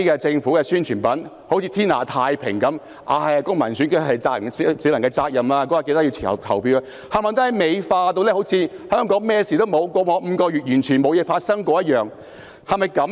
政府的宣傳品便彷如天下太平般，只提及選舉是公民責任，市民應在選舉當天前往投票，把香港美化成彷如過去5個月不曾發生任何事情般。